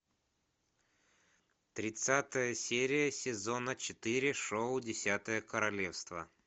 тридцатая серия сезона четыре шоу десятое королевство